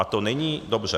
A to není dobře.